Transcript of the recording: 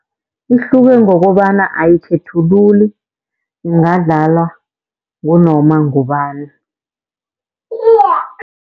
Ihluke ngokobana ayikhethululi, ingadlalwa ngunoma ngubani.